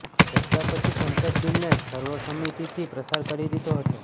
ચર્ચા પછી સંસદે બિલને સર્વસમ્મતિથી પ્રસાર કરી દીધો હતો